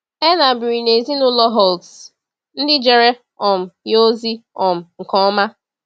Erna biri na ezinụlọ Holtz, ndị jere um ya ozi um nke ọma.